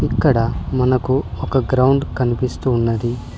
ఇక్కడ మనకు ఒక గ్రౌండ్ కన్పిస్తూ ఉన్నది.